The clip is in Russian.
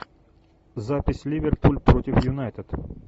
запись ливерпуль против юнайтед